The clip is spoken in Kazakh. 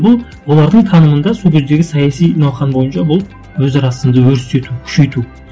бұл олардың танымында сол кездегі саяси науқан бойынша бұл өзара сынды өрістету күшейту